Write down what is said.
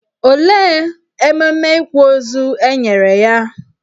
Olee ememe ịkwa ozu e nyere ya?